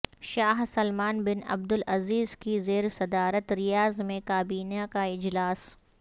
شاہ Salman bin Abdulaziz کی زیرصدارت Riyadh میں کابینہ کا اجلاس